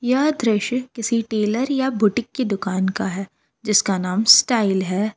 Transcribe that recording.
यह दृश्य किसी टेलर या बुटीक की दुकान का है जिसका नाम स्टाइल है।